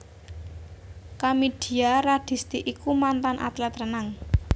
Kamidia Radisti iku mantan atlet renang